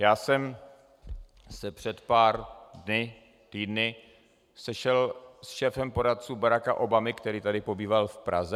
Já jsem se před pár dny, týdny sešel s šéfem poradců Baracka Obamy, který tady pobýval v Praze.